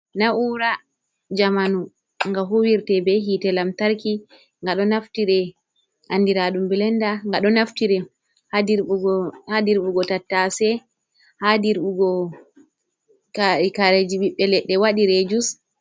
Na'ura jamanu ga huwirte be hite lamtarki. Nga ɗo naftire andiradu blenda, nga ɗo naftire ha dirɓugo tattase ha dirɓugo kareji ɓiɓɓe leɗɗe wadire jus.